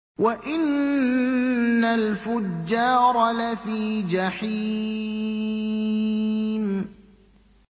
وَإِنَّ الْفُجَّارَ لَفِي جَحِيمٍ